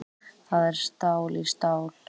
Það er stál í stál